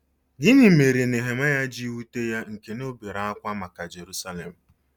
Gịnị mere Nehemaya ji wute ya nke na o bere ákwá maka Jerusalem?